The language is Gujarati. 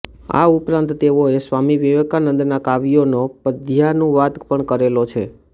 આ ઉપરાંત તેઓએ સ્વામી વિવેકાનંદના કાવ્યોનો પધ્યાનુવાદ પણ કરેલો છે